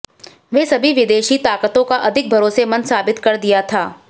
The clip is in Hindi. वे सभी विदेशी ताकतों का अधिक भरोसेमंद साबित कर दिया था